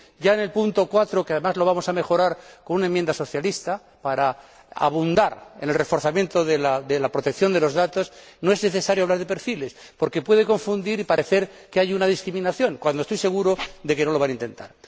Ya en el apartado 4, que además vamos a mejorar con una enmienda socialista para abundar en el reforzamiento de la protección de los datos, no es necesario hablar de perfiles porque puede llevar a confusión y parecer que hay una discriminación, cuando estoy seguro de que no se va a intentar.